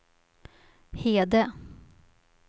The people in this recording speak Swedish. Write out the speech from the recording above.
Hede